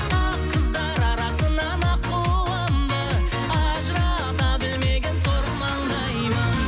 ақ қыздар арасынан аққуымды ажырата білмеген сор маңдаймын